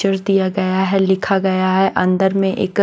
च्रदिया गया है लिखा गया है अंदर में एक--